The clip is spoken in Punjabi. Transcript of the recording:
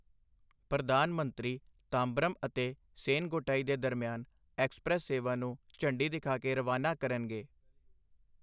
ਪ੍ਰਧਾਨ ਮੰਤਰੀ ਤਾਂਬਰਮ ਅਤੇ ਸੇਨਗੋੱਟਈ ਦੇ ਦਰਮਿਆਨ ਐਕਸਪ੍ਰੈੱਸ ਸੇਵਾ ਨੂੰ ਝੰਡੀ ਦਿਖਾ ਕੇ ਰਵਾਨਾ ਕਰਨਗੇ।